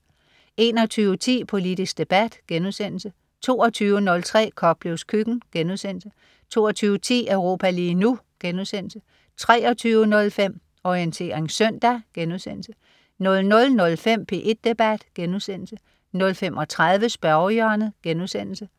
21.10 Politisk debat* 22.03 Koplevs køkken* 22.10 Europa lige nu* 23.05 Orientering søndag* 00.05 P1 debat* 00.35 Spørgehjørnet*